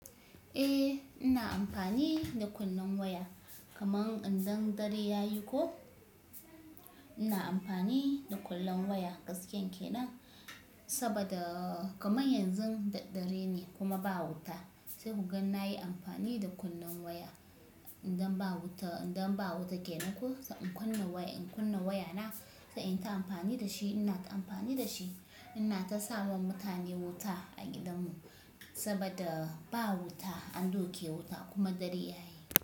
Eh ina amfani da kunnen waya kaman idan dare yayi ko ina amfani da kullen waya gaskiyan kenan saboda kamar yanzu da dare ne kuma ba wuta sai kugan nayi amfani da kunnen waya idan ba wuta, idan ba wuta kenan ko sai in kunna waya in kunna waya na sai in yi ta amfani da shi ina ta amfani da shi ina ta sawa mutane wuta a gidan mu saboda ba wuta an duke wuta kuma dare yayi.